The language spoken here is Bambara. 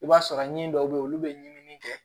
I b'a sɔrɔ ɲi dɔw bɛ ye olu bɛ ɲinini kɛ